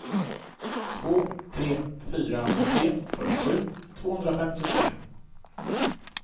två tre fyra tre fyrtiosju tvåhundrafemtiotre